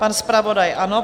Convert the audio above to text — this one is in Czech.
Pan zpravodaj ano.